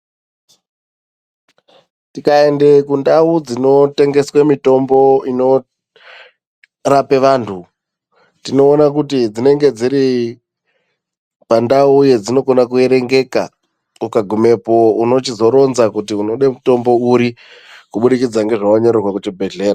Tikaende kundau dzinotengeswe mitombo inorape vantu, tinoona kuti dzinenge dziri pandau yedzinokona kuerengeka. Ukagumepo unochizoronza kuti unode mitombo uri, kubudikidza ngezvawanyorerwe kuchibhedhleya.